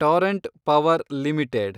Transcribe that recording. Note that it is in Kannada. Torrent Power limited